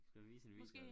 Skal vise en video